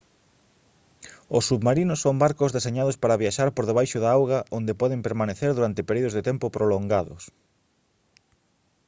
os submarinos son barcos deseñados para viaxar por debaixo da auga onde poden permanecer durante períodos de tempo prolongados